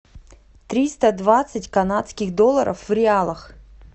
триста двадцать канадских долларов в реалах